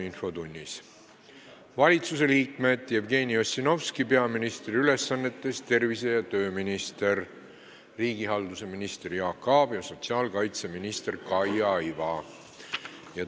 Valitsusliikmetest on kohal tervise- ja tööminister Jevgeni Ossinovski peaministri ülesannetes, riigihalduse minister Jaak Aab ja sotsiaalkaitseminister Kaia Iva.